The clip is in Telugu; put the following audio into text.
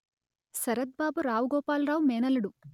శరత్ బాబు రావు గోపాలరావు మేనల్లుడు